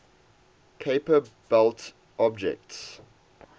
kuiper belt objects